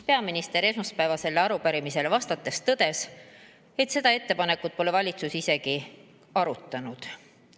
Peaminister esmaspäevasele arupärimisele vastates tõdes, et seda ettepanekut pole valitsus isegi arutanud.